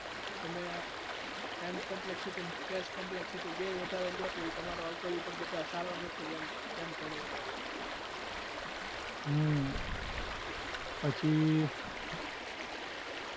તમે mcomplexcity અને space complexity બેય વધારે થાય તો એ તમારો algorithm વધારે સારો નથી એમ ગણે એ લોકો